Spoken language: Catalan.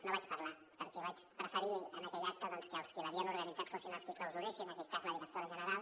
no hi vaig parlar perquè vaig preferir en aquell acte doncs que els qui l’havien organitzat fossin els qui el clausuressin en aquell cas la directora general